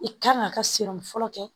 I kan k'a ka senni fɔlɔ kɛ